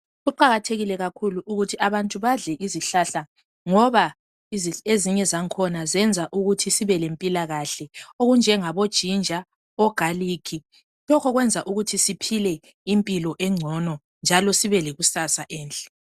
Kuqakathekile kakhulu ukuthi abantu badle izihlahla ngoba ezinye zakhona zenza ukuthi sibele mpilakahle. Okunjengabo jinga labo galikhi lokho kwenza ukuthi siphole impilo engcono njalo sibe lekusasa elihle.